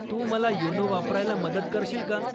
तू मला योनो वापरायला मदत करशील का?